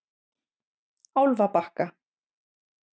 Álfabakka